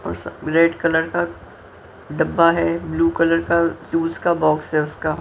उस red colour का डब्बा है ब्लू कलर का जूस का बॉक्स है उसका--